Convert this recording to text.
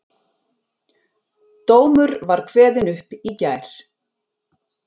Dómur var kveðinn upp í gær